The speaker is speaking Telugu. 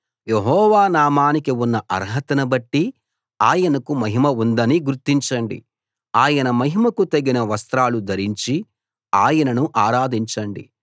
యెహోవా నామానికి ఉన్న అర్హతనుబట్టి ఆయనకు మహిమ ఉందని గుర్తించండి ఆయన మహిమకు తగిన వస్త్రాలు ధరించి ఆయనను ఆరాధించండి